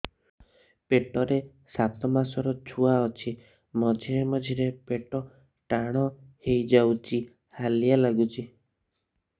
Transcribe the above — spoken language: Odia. ପେଟ ରେ ସାତମାସର ଛୁଆ ଅଛି ମଝିରେ ମଝିରେ ପେଟ ଟାଣ ହେଇଯାଉଚି ହାଲିଆ ଲାଗୁଚି